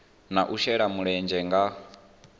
na u shela mulenzhe nga